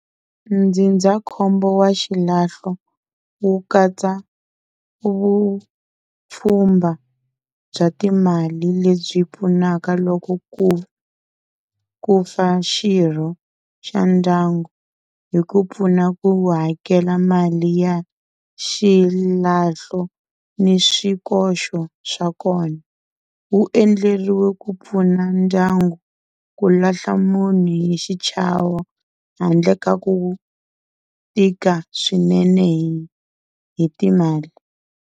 Ndzindzakhombo wa xilahlo, wu katsa vupfhumba bya timali lebyi pfunaka loko ku, ku fa xirho xa ndyangu hi ku pfuna ku hakela mali ya xilahlo ni swikoxo swa kona. Wu endleriwe ku pfuna ndyangu ku lahla munhu hi xichavo handle ka ku tika swinene hi hi timali.